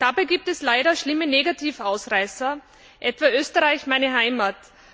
Dabei gibt es leider schlimme Negativausreißer etwa Österreich, meine Heimat.